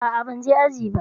A'a, ban je aji ba.